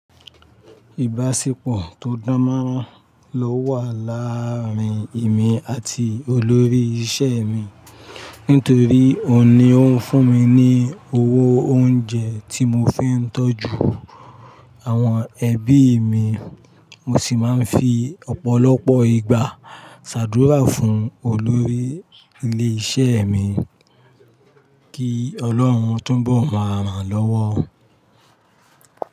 Ìbáṣepọ̀ tó dánmọ́rán ló wà láàrin èmi àti olórí isẹ́ mi nítorí òun ni ó ń fún mi ní owó oúnjẹ tí mo fi ń tọ́jú àwọn ẹbí mi. Mo sì máa ń fi ọ̀pọ̀lọpọ̀ ìgbà ṣàdúrà fún olórí ilé isẹ́ mi kí Ọlọ́run tó ń bọ̀ máa ràn án lọ́wọ́